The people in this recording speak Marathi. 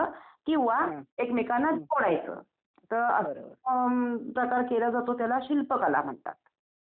अच्छा अच्छा म्हणजे देवस्थानावर यात्रेमध्ये आपण गेल्यानंतर जसं की अ लिंबू वगैरे देतो असं ना?